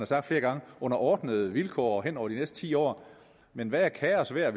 sagt flere gange under ordnede vilkår hen over de næste ti år men hvad er kaos værd